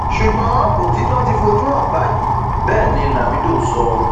ṣùgbọn òtítọ ti fojú hàn báyìí bẹẹ ni lamido sọ